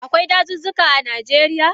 Akwai dazuzzuka a Najeriya?